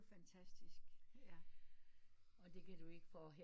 Det er fantastisk